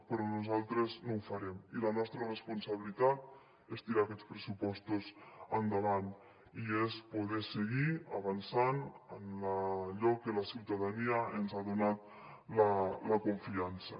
però nosaltres no ho farem i la nostra responsabilitat és tirar aquests pressupostos endavant i és poder seguir avançant en allò que la ciutadania ens ha donat la confiança